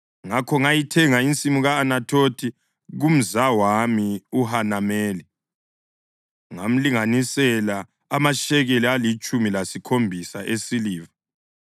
ngakho ngayithenga insimu ye-Anathothi kumzawami uHanameli, ngamlinganisela amashekeli alitshumi lesikhombisa esiliva.